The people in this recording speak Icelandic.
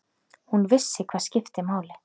Hún vissi hvað skipti máli.